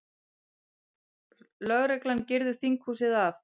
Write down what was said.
Lögreglan girðir þinghúsið af